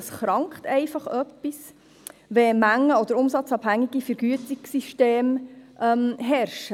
Es krankt einfach irgendetwas, wenn mengen- oder umsatzabhängige Vergütungssysteme herrschen.